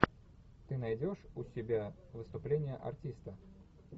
ты найдешь у себя выступление артиста